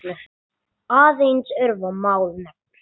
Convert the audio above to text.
Aðeins örfá mál nefnd.